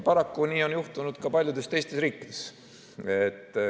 Paraku on nii juhtunud ka paljudes teistes riikides.